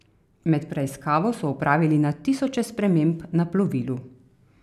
Med preiskavo so opravili na tisoče sprememb na plovilu.